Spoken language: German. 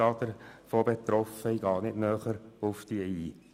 Davon betroffen sind 25 Angebote, ich gehe nicht näher darauf ein.